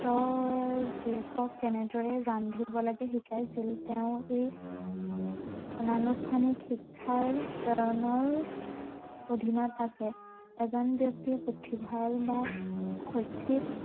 তেওঁৰ জীয়েকক কেনেদৰে ৰান্ধিব লাগে শিকাইছিল তেওঁৰ এই, অনা অনুষ্ঠানিক শিক্ষাৰ প্ৰেৰণৰ অধিনত আছে এজন ব্য়ক্তি পুথিভঁৰাল বা শৈক্ষিক